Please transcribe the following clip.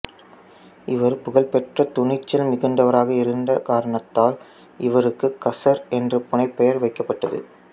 இவர் புகழ்பெற்ற துணிச்சல் மிகுந்தவராக இருந்த காரணத்தால் இவருக்குக் கசர் என்ற புனைப்பெயர் வைக்கப்பட்டது